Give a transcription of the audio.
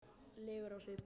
legur á svip.